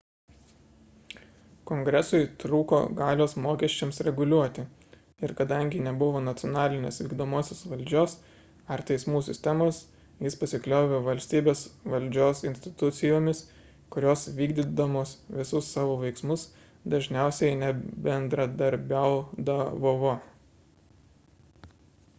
kongresui trūko galios mokesčiams reguliuoti ir kadangi nebuvo nacionalinės vykdomosios valdžios ar teismų sistemos jis pasikliovė valstybės valdžios institucijomis kurios vykdydamos visus savo veiksmus dažiausiai nebendradarbiaudavovo